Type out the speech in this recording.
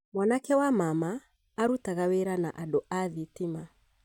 Mwanake wa mama arutaga wĩra na andũ athitima